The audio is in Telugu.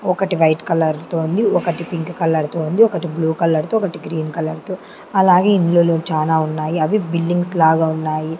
ఒకటి వైట్ కలర్ తో ఉంది ఒకటి పింక్ కలర్ తో ఉంది ఒకటి బ్లూ కలర్ తో ఒకటి గ్రీన్ కలర్ తో అలాగే ఇండ్లులు చానా ఉన్నాయి అవి బిల్డింగ్స్ లాగా ఉన్నాయి.